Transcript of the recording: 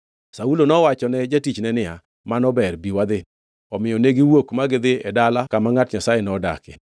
Saulo nowachone jatich niya, “Mano ber, bi wadhi.” Omiyo negiwuok ma gidhi e dala kama ngʼat Nyasaye nodakie.